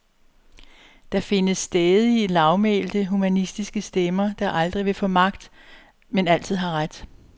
Der findes stædige, lavmælte, humanistiske stemmer, der aldrig vil få magt, men altid har ret.